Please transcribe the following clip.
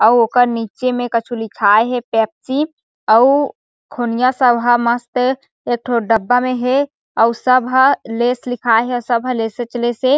अउ ओकर निचे में कछु लिखाय हे पेप्सी अउ खुनिआ सब हे मस्त एकठो डब्बा में हे और सब ह लैस लिखाई हे सब हे लेसे च लेस हे।